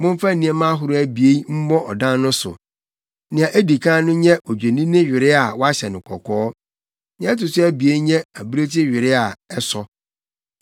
Momfa nneɛma ahorow abien mmɔ ɔdan no so. Nea edi kan no nyɛ odwennini were a wɔahyɛ no kɔkɔɔ, nea ɛto so abien nyɛ abirekyi were a ɛsɔ.